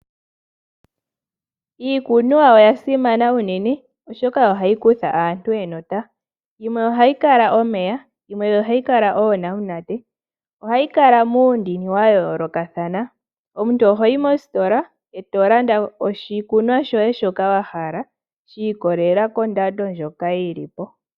Iikunwa oya simana uunene oshoka ohayi kutha aantu enota. Yimwe ohayi kala omeya yimwe ohayi kala eenamunate. ohayi kala muundini wa yoolokathana. Omuntu ohoyi mositola eto landa oshikunwa shoye shoka wa hala shi ikolelela kondando ndjoka yili po.